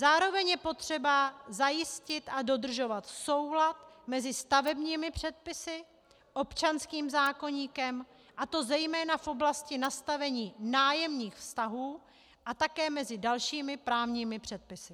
Zároveň je potřeba zajistit a dodržovat soulad mezi stavebními předpisy, občanským zákoníkem, a to zejména v oblasti nastavení nájemních vztahů a také mezi dalšími právními předpisy.